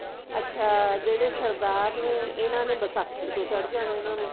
ਅੱਛਾ ਜਿਹੜੇ ਸਰਦਾਰ ਨੇ ਇਹਨਾਂ ਨੇ ਵਿਸਾਖੀ ਨੂੰ ਚੜ ਜਾਂਦਾ ਇਹਨਾਂ ਨੂੰ